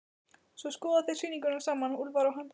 Svo skoða þeir sýninguna saman, Úlfar og hann.